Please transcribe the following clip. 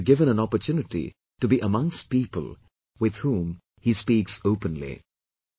He should be given an opportunity to be amongst people with whom he speaks openly